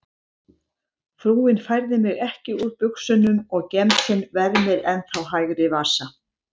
Frúin færði mig ekki úr buxunum og gemsinn vermir ennþá hægri vasa.